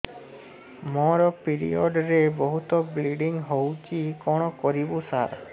ମୋର ପିରିଅଡ଼ ରେ ବହୁତ ବ୍ଲିଡ଼ିଙ୍ଗ ହଉଚି କଣ କରିବୁ ସାର